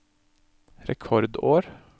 rekordår